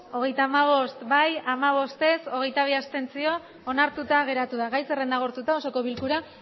hogeita hamabost ez hamabost abstentzioak hogeita bi onartuta geratu da gai zerrenda agortuta osoko bilkura